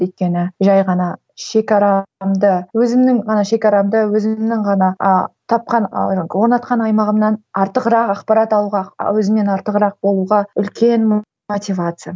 өйткені жай ғана шекарамды өзімнің ғана шекарамды өзімнің ғана а тапқан ы орнатқан аймағымнан артығырақ ақпарат алуға өзімнен артығырық болуға үлкен мотивация